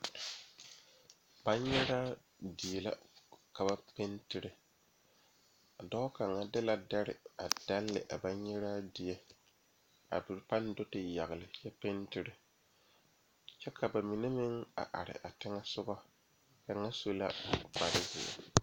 Banyɛra die la ka ba a pentire a dɔɔ kaŋa de la dari a dalee a banyɛraa die ka kaŋa paŋ do te yagle ka pentere kyɛ ka bamine meŋ a are a teŋa soga kaŋa su la kpare ziɛ.